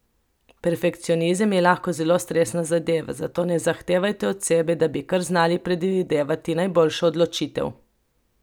Perfekcionizem je lahko zelo stresna zadeva, zato ne zahtevajte od sebe, da bi kar znali predvideti najboljšo odločitev.